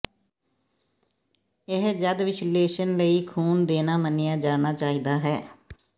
ਇਹ ਜਦ ਵਿਸ਼ਲੇਸ਼ਣ ਲਈ ਖੂਨ ਦੇਣਾ ਮੰਨਿਆ ਜਾਣਾ ਚਾਹੀਦਾ ਹੈ